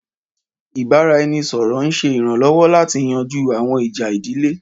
Ìbára-ẹni-sọ̀rọ̀ ń ṣe iranlọwọ láti yanjú àwọn ìjà ìdílé